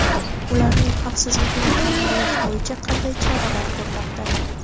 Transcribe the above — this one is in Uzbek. ularning xavfsizligini ta’minlash bo‘yicha qanday choralar ko‘rmoqda?.